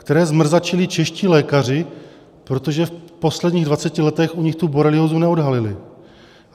, které zmrzačili čeští lékaři, protože v posledních dvaceti letech u nich tu boreliózu neodhalili.